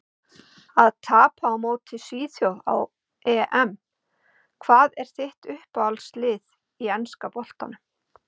Að tapa á móti svíþjóð á EM Hvað er þitt uppáhaldslið í enska boltanum?